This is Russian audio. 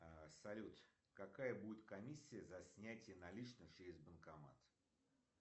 салют какая будет комиссия за снятие наличных через банкомат